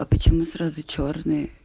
а почему сразу чёрный